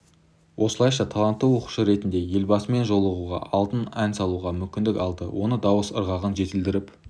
осылайша талантты оқушы ретінде елбасымен жолығуға алдында ән салуға мүмкіндік алды оны дауыс ырғағын жетілдіріп